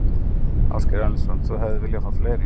Ásgeir Erlendsson: Þú hefðir viljað fá fleiri?